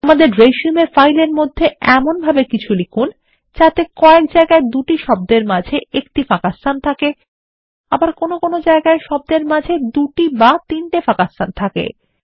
আমাদের resumeফাইলের মধ্যে এমনভাবেকিছুলিখুন যাতে কয়েক জায়গায়দুটি শব্দের মাঝে একটি ফাঁকাস্থান থাকে আবার কোনো জায়গায় শব্দের মাঝে দুটি বা তিনটি ফাঁকাস্থান থাকে